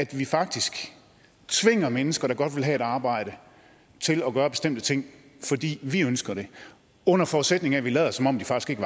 vi faktisk tvinger mennesker der godt ville have et arbejde til at gøre bestemte ting fordi vi ønsker det under forudsætning af at vi lader som om de faktisk